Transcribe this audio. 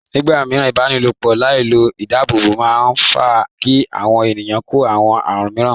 Nígbà mìíràn, ìbálòpọ̀ láì lo ìdáàbòbò máa ń fà á kí àwọn ènìyàn kó àwọn àrùn míràn.